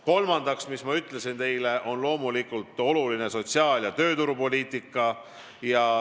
Kolmandaks, mida ma teile ka ütlesin, loomulikult on oluline sotsiaal- ja tööturupoliitika.